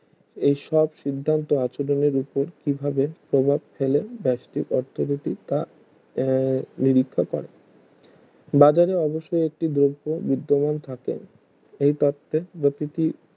এই সব সিদ্ধান্ত আচরণের উপর কিভাবে প্রভাব ফেলেন বেস্টিক অর্থনীতি তা এর নিরীক্ষা করে বাজারে অবশই একটি দ্রব্য বৃদ্ধমান থাকেন এই তত্ত্বের গতিটি